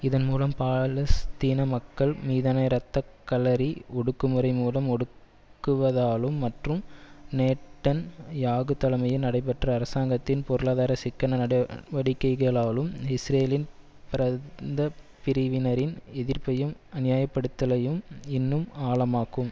இதன் மூலம் பாலஸ்தீன மக்கள் மீதான இரத்தக்களறி ஒடுக்குமுறை மூலம் ஒடுக்குவதாலும் மற்றும் நேட்டன் யாகு தலைமையில் நடைபெற்ற அரசாங்கத்தின் பொருளாதார சிக்கன நடவடிக்கைளாலும் இஸ்ரேலின் ப்ரந்தபிரிவினரின் எதிர்ப்பையும் அநியாயப்படுத்தலையும் இன்னும் ஆழமாக்கும்